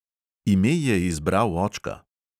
Ime je izbral očka.